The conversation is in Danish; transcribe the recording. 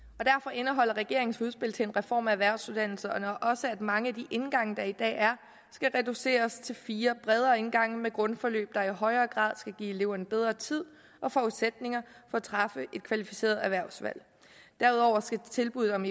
indeholder regeringens udspil til en reform af erhvervsuddannelserne også at mange af de indgange der i dag er skal reduceres til fire bredere indgange med grundforløb der i højere grad skal give eleverne bedre tid og forudsætninger for at træffe et kvalificeret erhvervsvalg derudover skal tilbuddet om